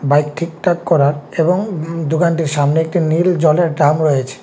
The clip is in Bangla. বাইক ঠিকঠাক করার এবং দোকানটির সামনে একটি নীল জলের ড্রাম রয়েছে।